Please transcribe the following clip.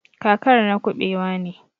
kakar na kubewa ne.